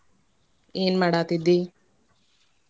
ಏನ್ ಮಾಡಾತಿದ್ದಿ?